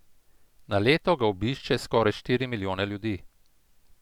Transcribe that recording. Na leto ga obišče skoraj štiri milijone ljudi.